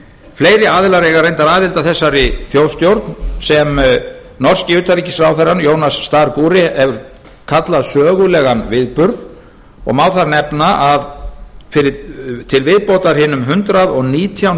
fleiri aðilar eiga reyndar aðild að þessari þjóðstjórn sem norski utanríkisráðherrann jonas sargure hefur kallað sögulegan viðburð og má þar nefna að til viðbótar hinum hundrað og nítján